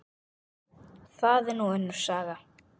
Það er nú önnur saga.